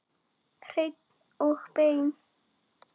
Hreinn og beinn.